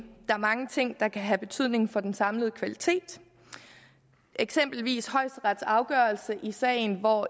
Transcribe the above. er mange ting der kan have betydning for den samlede kvalitet eksempelvis højesteretsafgørelsen i sagen hvor